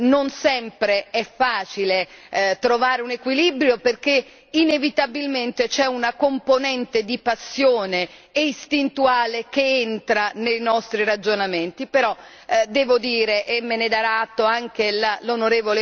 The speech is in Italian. Non sempre è facile trovare un equilibrio perché inevitabilmente c'è una componente di passione istintuale che entra nei nostri ragionamenti, però, devo dire e me ne darà atto anche l'on.